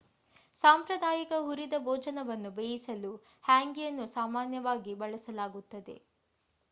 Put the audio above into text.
ಸಾಂಪ್ರದಾಯಿಕ ಹುರಿದ ಭೋಜನವನ್ನು ಬೇಯಿಸಲು ಹ್ಯಾಂಗಿಯನ್ನು ಸಾಮಾನ್ಯವಾಗಿ ಬಳಸಲಾಗುತ್ತದೆ